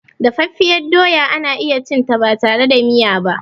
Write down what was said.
Dafaffiyar doya ana iyacinta batare da miya ba.